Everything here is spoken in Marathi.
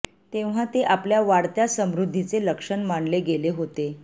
तेव्हा ते आपल्या वाढत्या समृद्धीचे लक्षण मानले गेले होते